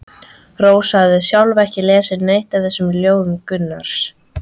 Rósa hafði sjálf ekki lesið neitt af þessum ljóðum Gunnars.